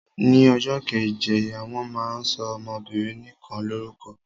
Ni ọjọ́ keje wọ́n máa ń sọ ọmọbinrin nikan lórúkọ.